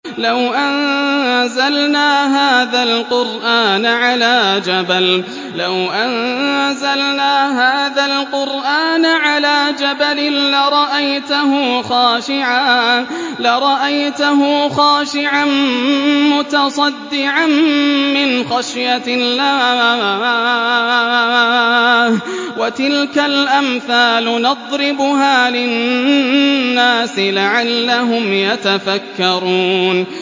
لَوْ أَنزَلْنَا هَٰذَا الْقُرْآنَ عَلَىٰ جَبَلٍ لَّرَأَيْتَهُ خَاشِعًا مُّتَصَدِّعًا مِّنْ خَشْيَةِ اللَّهِ ۚ وَتِلْكَ الْأَمْثَالُ نَضْرِبُهَا لِلنَّاسِ لَعَلَّهُمْ يَتَفَكَّرُونَ